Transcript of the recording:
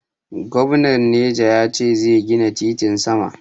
Gomnan neja ya ce zai gina titin sama.